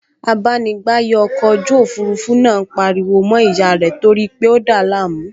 Abánigbàyè ọkọ̀ ojú òfurufú náà pariwo mọ́ ìyá rẹ̀ torípé ó dàá láàmú